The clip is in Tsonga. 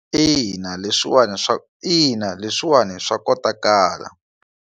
Ina, leswiwani ina, leswiwani swa kotakala.